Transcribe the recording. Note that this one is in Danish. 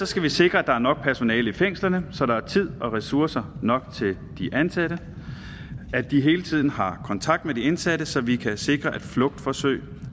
skal vi sikre at der er nok personale i fængslerne så der er tid og ressourcer nok til de ansatte og at de hele tiden har kontakt med de indsatte så vi kan sikre at flugtforsøg